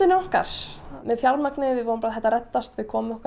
okkar með fjármagnið við vorum bara þetta reddast við komum okkur